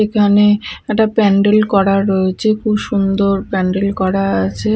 এখানে একটা প্যান্ডেল করা রয়েছে খুব সুন্দর প্যান্ডেল করা আছে।